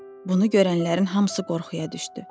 Bunu görənlərin hamısı qorxuya düşdü.